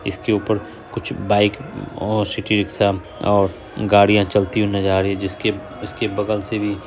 इसके ऊपर कुछ बाइक और सिटी रीक्शा और गाड़ियाँ चलती हुई नजर आ रही है जिसके इसके बगल से भी--